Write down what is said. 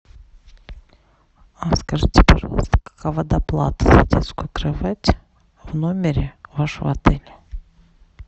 а скажите пожалуйста какова доплата за детскую кровать в номере вашего отеля